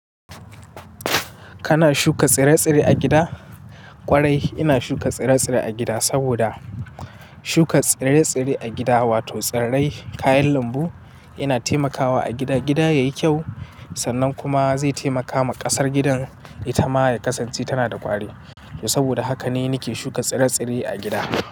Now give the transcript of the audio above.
Kana shuka tsire-tsire a gida? Kwarai ina shuka tsire-tsire a gida, saboda shuka tsire-tsire a gida wato tsirrai kayan lambu yana taimakawa a gida, gida yayi kyau sannan kuma zai taimakawa ƙasar gidan ita ma ya kasance tana da ƙwari. Saboda haka ne nake shuka tsire-tsire a gida.